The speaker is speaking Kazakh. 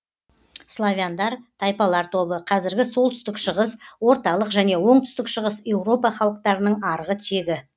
славяндар тайпалар тобы қазіргі солтүстік шығыс орталық және оңтүстік шығыс еуропа халықтарының арғы тегі